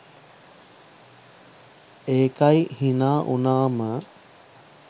ඒකයි හිනා වුනාම